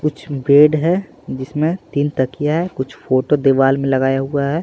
कुछ बेड है जिसमें तीन तकिया है कुछ फोटो दीवार में लगाया हुआ है।